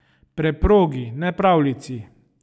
Preprogi, ne pravljici ...